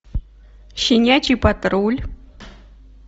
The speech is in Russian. щенячий патруль